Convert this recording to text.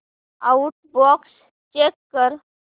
outbox check कर